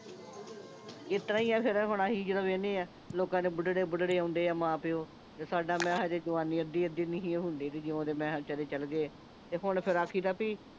ਇਸਤਰਾਂ ਹੀ ਆ ਫਿਰ ਹੁਣ ਅਸੀਂ ਜਦੋਂ ਵੇਹਨੇ ਆਂ ਲੋਕਾਂ ਦੇ ਬੁੱਢੜੇ ਬੁੱਢੜੇ ਆਉਂਦੇ ਆ ਮਾਂ ਪਿਓ ਤੇ ਸਾਡਾ ਮੈਂ ਕਿਹਾ ਜਵਾਨੀ ਅੱਧੀ ਅੱਧੀ ਨਹੀਂ ਸੀ ਹੁੰਦੀ ਜਦੋਂ ਦੇ ਮੈਂ ਕਿਹਾ ਵਿਚਾਰੇ ਚੱਲ ਗਏ ਆ ਤੇ ਹੁਣ ਫੇਰ ਆਖੀ ਦਾ ਬੀ